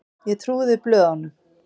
Ég trúði blöðunum.